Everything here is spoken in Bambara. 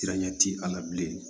ti a la bilen